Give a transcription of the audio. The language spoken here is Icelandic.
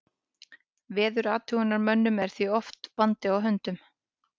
Veðurathugunarmönnum er því oft vandi á höndum.